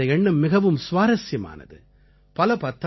அவர்களுடைய இந்த எண்ணம் மிகவும் சுவாரசியமானது